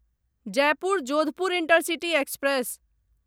Jaipur Jodhpur intercity express